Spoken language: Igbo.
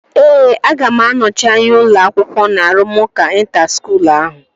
Ee, aga m anọchi anya ụlọ akwụkwọ na arụmụka ịnta skuul ahụ